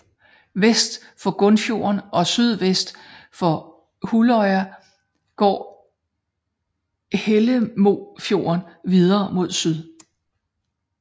Vest for Grunnfjorden og sydvest for Hulløya går Hellemofjorden videre mod syd